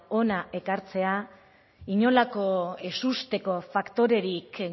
hona ekartzea inolako ezusteko faktorerik